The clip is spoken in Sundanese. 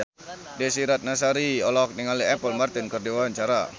Desy Ratnasari olohok ningali Apple Martin keur diwawancara